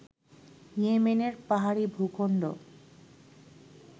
ইয়েমেনের পাহাড়ী ভূখন্ড